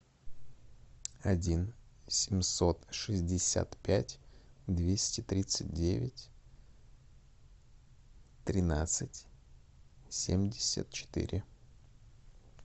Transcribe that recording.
один семьсот шестьдесят пять двести тридцать девять тринадцать семьдесят четыре